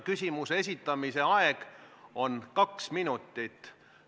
Küsimuse esitamiseks on aega kuni kaks minutit.